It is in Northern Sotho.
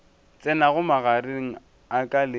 tsenago magareng a ka le